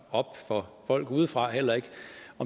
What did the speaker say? op for folk udefra heller ikke